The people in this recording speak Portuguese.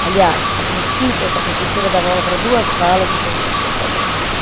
aliás, a princípio essa professora dava aula para duas salas, depois ela ficou só com a gente.